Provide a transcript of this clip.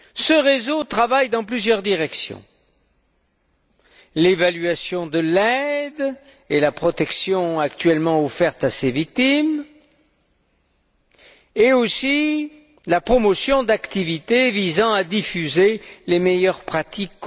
Ce réseau travaille dans plusieurs directions l'évaluation de l'aide et la protection actuellement offerte à ces victimes, et aussi la promotion d'activités visant à diffuser les meilleures pratiques.